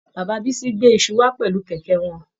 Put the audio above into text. Bàbá Bisi gbé iṣu wà pẹlú kẹkẹ wọn.